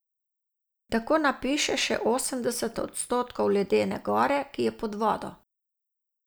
Tako napiše še osemdeset odstotkov ledene gore, ki je pod vodo.